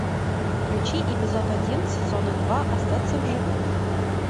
включи эпизод один сезона два остаться в живых